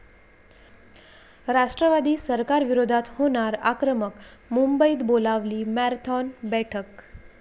राष्ट्रवादी सरकारविरोधात होणार आक्रमक, मुंबईत बोलावली मॅरेथॉन बैठक